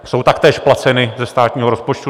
Jsou taktéž placena ze státního rozpočtu.